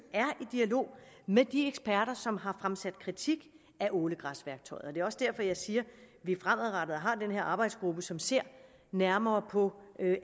dialog med de eksperter som har fremsat kritik af ålegræsværktøjet det er også derfor jeg siger at vi fremadrettet har den her arbejdsgruppe som ser nærmere på